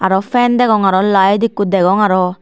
aro fan degong aro light ekku degong aro.